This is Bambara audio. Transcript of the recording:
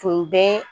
Tun bɛ